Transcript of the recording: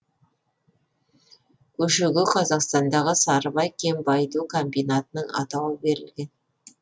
көшеге қазақстандағы сарыбай кен байыту комбинатының атауы берілген